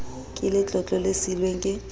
ka letlotlo le siilweng ke